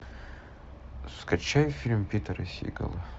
скачай фильм питера сигала